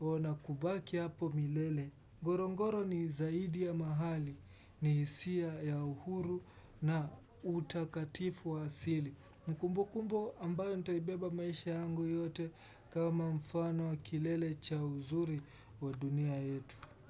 ona kubaki hapo milele Gorongoro ni zaidi ya mahali ni hisia ya uhuru na utakatifu wa asili na kumbu kumbu ambayo ntaibeba maisha yangu yote kama mfano wa kilele cha uzuri wa dunia yetu.